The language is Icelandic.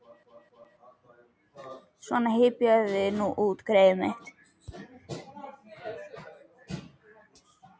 Svona, hypjaðu þig nú út, greyið mitt.